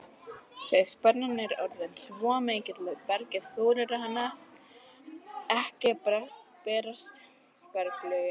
Þegar spennan er orðin svo mikil að bergið þolir hana ekki bresta berglögin.